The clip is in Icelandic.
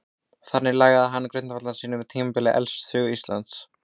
þannig lagði hann grundvöllinn að tímatali elstu sögu íslands